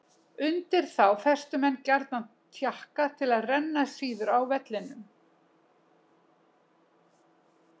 Undir þá festu menn gjarnan takka til að renna síður á vellinum.